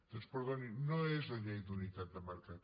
doncs perdonin no és la llei d’unitat de mercat